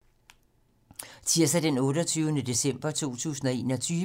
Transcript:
Tirsdag d. 28. december 2021